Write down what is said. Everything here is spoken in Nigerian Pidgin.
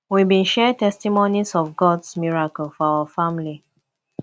we bin share testimonies of gods miracles for our family